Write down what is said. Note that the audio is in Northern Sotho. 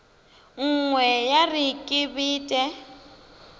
nngwe ya re ke bete